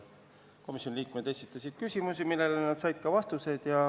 Komisjoni liikmed esitasid küsimusi, millele nad said ka vastuseid.